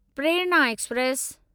Prerna express